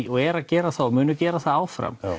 og eru að gera það og munu gera það áfram